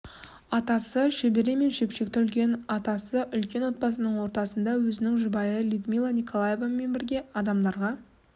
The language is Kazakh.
атасы шөбере мен шөпшекті үлкен атасы үлкен отбасының ортасында өзінің жұбайы людмила николаевнамен бірге адамдарға